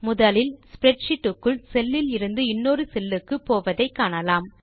முதலில் ஸ்ப்ரெட்ஷீட் க்குள் செல் இலிருந்து இன்னொரு செல் க்கு போவதை காணலாம்